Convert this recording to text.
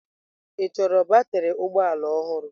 Ị chọrọ batrị ụgbọ ala ọhụrụ?